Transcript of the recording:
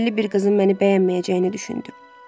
Şəhərli bir qızın məni bəyənməyəcəyini düşünürdüm.